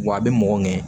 Wa a bɛ mɔgɔ ŋɛɲɛ